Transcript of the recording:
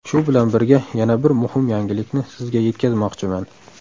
Shu bilan birga yana bir muhim yangilikni sizga yetkazmoqchiman.